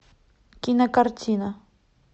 кинокартина